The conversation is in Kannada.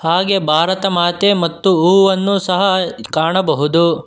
ಹಾಗೆ ಭಾರತಮಾತೆ ಮತ್ತು ಹೂವನ್ನು ಸಹ ಕಾಣಬಹುದು.